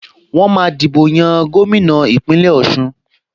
Wọ́n máa dìbò yan gómìnà Ìpínlẹ̀ Ọ̀ṣun